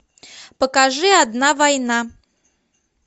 покажи одна война